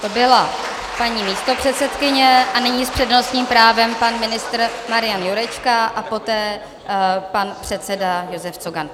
To byla paní místopředsedkyně a nyní s přednostním právem pan ministr Marian Jurečka a poté pan předseda Josef Cogan.